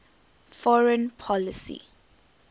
foreign policy